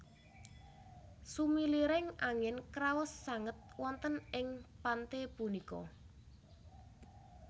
Sumiliring angin kraos sanget wonten ing pante punika